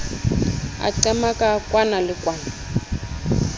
a qamaka kwana le kwana